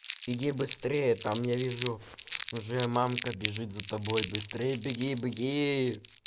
беги быстрее там я вижу уже мамка бежит за тобой быстрее беги беги